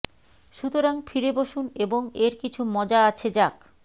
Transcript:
সুতরাং ফিরে বসুন এবং এর কিছু মজা আছে যাক